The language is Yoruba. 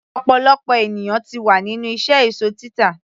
ọ̀pọ̀lọpọ̀ ènìyàn ti wà nínú iṣẹ́ èsó títà